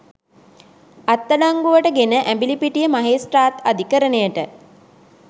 අත්අඩංගුවට ගෙන ඇඹිලිපිටිය මහේස්ත්‍රාත් අධිකරණයට